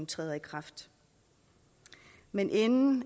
træder i kraft men inden